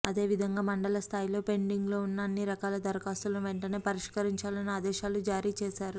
అదేవిధంగా మండల స్థాయిలో పెండింగ్లో ఉన్న అన్ని రకాల దరఖాస్తులను వెంటనే పరిష్కరించాలని ఆదేశాలు జారీచేశారు